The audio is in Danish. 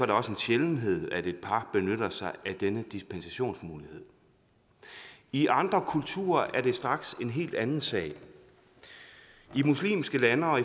det også en sjældenhed at et par benytter sig af denne dispensationsmulighed i andre kulturer er det straks en helt anden sag i muslimske lande og